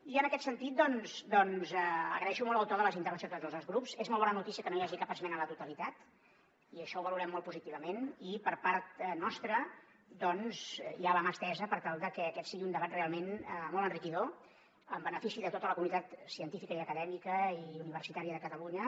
i en aquest sentit doncs agraeixo molt el to de les intervencions de tots els grups és molt bona notícia que no hi hagi cap esmena a la totalitat i això ho valorem molt positivament i per part nostra hi ha la mà estesa per tal de que aquest sigui un debat realment molt enriquidor en benefici de tota la comunitat científica acadèmica i universitària de catalunya